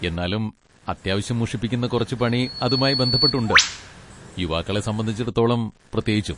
എന്നാലും അത്യാവശ്യം മുഷിപ്പിക്കുന്ന കുറച്ച് പണി അതുമായി ബന്ധപ്പെട്ട് ഉണ്ട്, യുവാക്കളെ സംബന്ധിച്ചിടത്തോളം പ്രത്യേകിച്ചും.